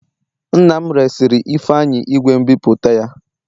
Nna m resịrị Ifeanyi igwe nbipute ya